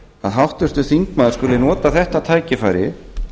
að háttvirtur þingmaður skuli nota þetta tækifæri